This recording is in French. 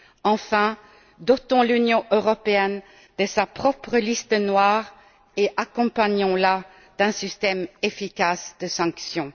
Enfin, dotons l'Union européenne de sa propre liste noire et accompagnons la d'un système efficace de sanctions.